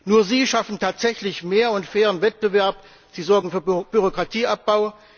Nur sie schaffen tatsächlich mehr und fairen Wettbewerb, sie sorgen für Bürokratieabbau.